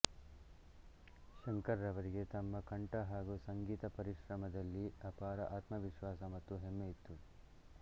ಶಂಕರ್ ರವರಿಗೆ ತಮ್ಮ ಕಂಠ ಹಾಗೂ ಸಂಗೀತ ಪರಿಶ್ರಮದಲ್ಲಿ ಅಪಾರ ಆತ್ಮ ವಿಶ್ವಾಸ ಮತ್ತು ಹೆಮ್ಮೆಯಿತ್ತು